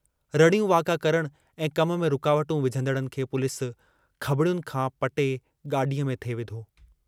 रड़ियूं वाका करण ऐं कम में रुकावटूं विझंदड़नि खे पुलिस खंबड़ियुनि खां पटे गाडीअ में थिए विधो।